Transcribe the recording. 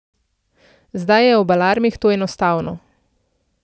Zdaj je ob alarmih to enostavno.